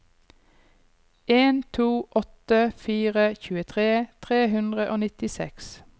en to åtte fire tjuetre tre hundre og nittiseks